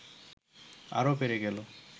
আরও বেড়ে গেল